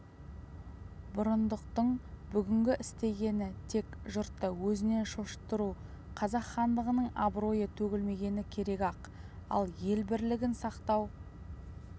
бұрындықтың бүгінгі істегені тек жұртты өзінен шошыттыру қазақ хандығының абыройы төгілмегені керек-ақ ал ел бірлігін сақтау